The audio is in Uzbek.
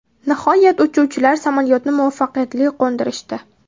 Nihoyat uchuvchilar samolyotni muvaffaqiyatli qo‘ndirishdi.